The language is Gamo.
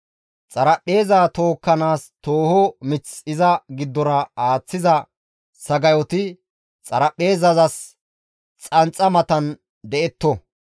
Xaraphpheeza tookkanaas tooho mith iza giddora aaththiza sagayoti xaraphpheezazas xanxa matan detto.